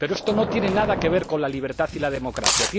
Pero esto no tiene nada que ver con la libertad y la democracia.